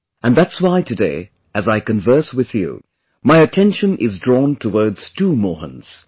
And that's why today, as I converse with you, my attention is drawn towards two Mohans